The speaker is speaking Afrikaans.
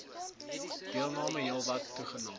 deelname heelwat toegeneem